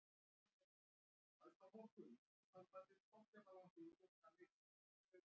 Mýsnar eru aftur á móti algengastar á haustin og fram eftir vetri.